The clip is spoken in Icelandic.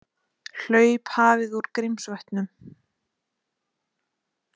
Hlaup hafið úr Grímsvötnum